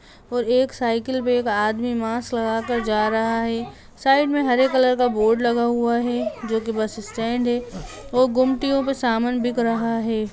और एक साइकिल पे एक आदमी मास्क लगाकर जा रहा है साइड में हरे कलर का बोर्ड लगा हुआ है जो की बस स्टैंड है वो गुमटियों पर समान बिक रहा है।